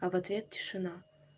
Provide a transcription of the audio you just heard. а в ответ тишина